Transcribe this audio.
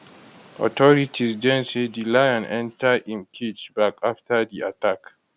authorities den say di lion enter im cage back after di attack